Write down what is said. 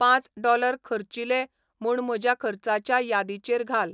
पांच डॉलर खर्चिले म्हूणम्हज्या खर्चाच्या यादीचेर घाल